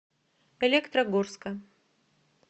электрогорска